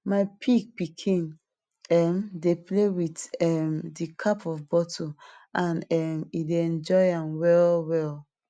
my pig pikin um dey play with um di cap of bottle and um e dey enjoy am well well